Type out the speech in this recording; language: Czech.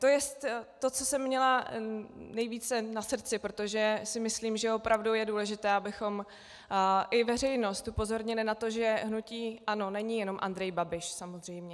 To je to, co jsem měla nejvíce na srdci, protože si myslím, že opravdu je důležité, abychom i veřejnost upozornili na to, že hnutí ANO není jenom Andrej Babiš samozřejmě.